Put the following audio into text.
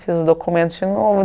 Fiz os documentos de novo.